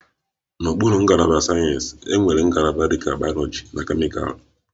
N'okpuru ngalaba nke sayensị, enwere ngalaba dịka bayoloji, kemịkal